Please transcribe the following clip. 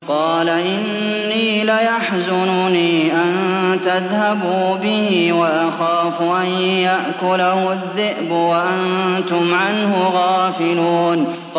قَالَ إِنِّي لَيَحْزُنُنِي أَن تَذْهَبُوا بِهِ وَأَخَافُ أَن يَأْكُلَهُ الذِّئْبُ وَأَنتُمْ عَنْهُ غَافِلُونَ